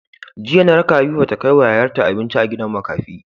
Jiya na raka habiba ta kai wa yayar ta abinci a gidan makafi